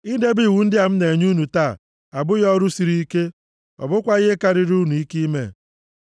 Idebe iwu ndị a m na-enye unu taa abụghị ọrụ sịrị ike, ọ bụkwaghị ihe karịrị unu ike ime.